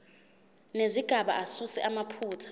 nezigaba asuse amaphutha